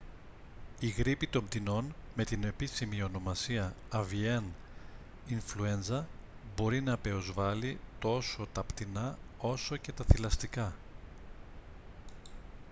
η γρίπη των πτηνών με την επίσημη ονομασία avian influenza μπορεί να πεοσβάλει τόσο τα πτηνά όσο και τα θηλαστικά